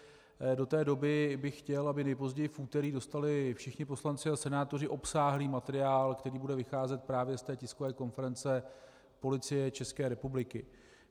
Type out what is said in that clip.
Do té doby bych chtěl, aby nejpozději v úterý dostali všichni poslanci a senátoři obsáhlý materiál, který bude vycházet právě z té tiskové konference Policie České republiky.